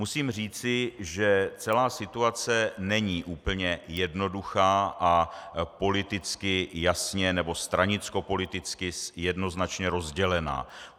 Musím říci, že celá situace není úplně jednoduchá a politicky jasně, nebo stranickopoliticky jednoznačně rozdělená.